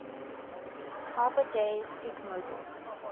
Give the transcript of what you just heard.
arbor day sikmogil